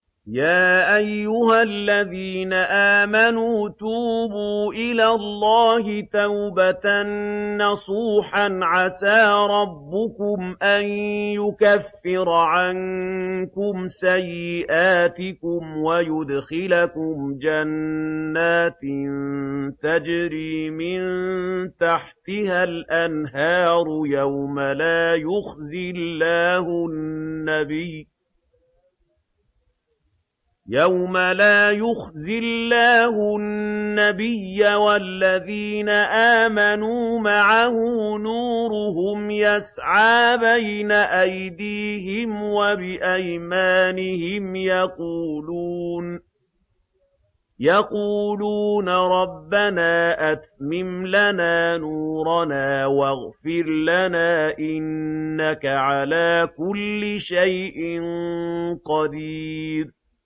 يَا أَيُّهَا الَّذِينَ آمَنُوا تُوبُوا إِلَى اللَّهِ تَوْبَةً نَّصُوحًا عَسَىٰ رَبُّكُمْ أَن يُكَفِّرَ عَنكُمْ سَيِّئَاتِكُمْ وَيُدْخِلَكُمْ جَنَّاتٍ تَجْرِي مِن تَحْتِهَا الْأَنْهَارُ يَوْمَ لَا يُخْزِي اللَّهُ النَّبِيَّ وَالَّذِينَ آمَنُوا مَعَهُ ۖ نُورُهُمْ يَسْعَىٰ بَيْنَ أَيْدِيهِمْ وَبِأَيْمَانِهِمْ يَقُولُونَ رَبَّنَا أَتْمِمْ لَنَا نُورَنَا وَاغْفِرْ لَنَا ۖ إِنَّكَ عَلَىٰ كُلِّ شَيْءٍ قَدِيرٌ